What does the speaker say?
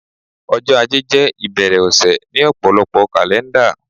ọjọ ajé jé ìbẹ̀rẹ̀ ọ̀sẹ̀ ni òpòlopo kàlẹ́ndà